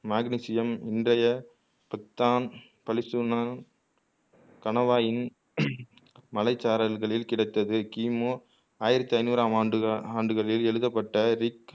magnesium இன்றைய பத்தான் பலிசூன கணவாயின் மழைச்சாரல்களில் கிடைத்தது கிமு ஆயிரத்து ஐனூறாம் ஆண்டுக ஆண்டுகளில் எழுதப்பட்ட ரிக்